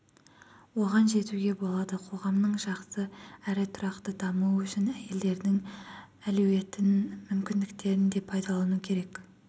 оған жетуге болады қоғамның жақсы әрі тұрақты дамуы үшін әйелдердің әлеуетін мүмкіндіктерін де пайдалану керек